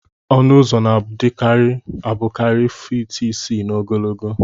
Ọnụ ụzọ na adi abukari feet isi na ogologo